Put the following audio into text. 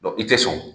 i tɛ sɔn